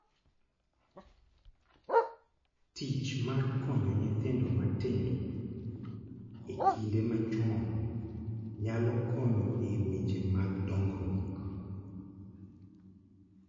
Tich mar konyo nyithindo matindo e kinde ma chon nyalo konyo e weche mag dongruok.